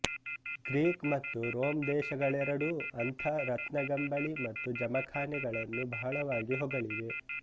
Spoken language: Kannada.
ಗ್ರೀಕ್ ಮತ್ತು ರೋಮ್ ದೇಶಗಳೆರಡೂ ಅಂಥ ರತ್ನಗಂಬಳಿ ಮತ್ತು ಜಮಖಾನೆಗಳನ್ನು ಬಹಳವಾಗಿ ಹೊಗಳಿವೆ